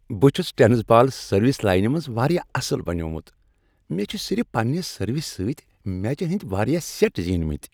بہٕ چھس tennis ball service lines منز واریاہ اصل بنیومُت۔ مےٚ چھ صرف پننِہ سروس سۭتۍ میچن ہٕندۍ واریاہ سیٹ زینۍ مِتۍ۔